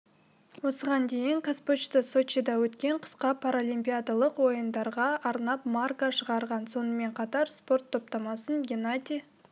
осыған дейін қазпочта сочида өткен қысқы паралимпиядалық ойындарға арнап марка шығарған сонымен қатар спорт топтамасын геннадий